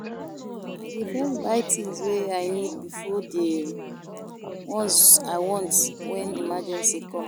I dey first buy tins wey I need before di ones I want wen emergency com.